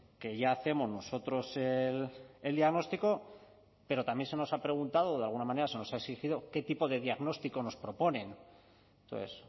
que ya hacemos nosotros el diagnóstico pero también se nos ha preguntado o de alguna manera se nos ha exigido qué tipo de diagnóstico nos proponen entonces